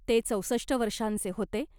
ते चौसष्ट वर्षांचे होते .